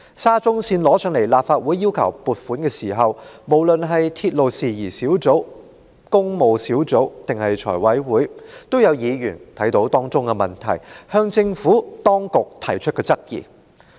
沙中線工程提交至立法會申請撥款時，無論在立法會鐵路事宜小組委員會、工務小組委員會，還是財務委員會，也有議員看到當中的問題，曾向政府當局提出質疑。